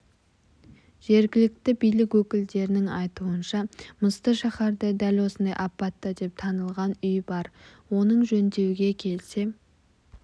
жергілікті билік өкілдерінің айтуынша мысты шаһарда дәл осындай апатты деп танылған үй бар оның жөндеуге келсе